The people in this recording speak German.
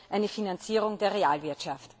eine Finanzierung der Realwirtschaft.